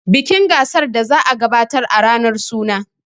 bikin gasar daka za a gabatar a ranar suna